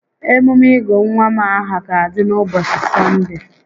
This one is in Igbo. Emume ịgụ nwa m aha ga-adị n'ụbọchị S6onde a